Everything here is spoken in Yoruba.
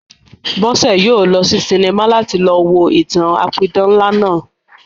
Bọ́sẹ̀ yóò lọ sí sinimá láti lọ wo ìtàn-an apidán ńlá náà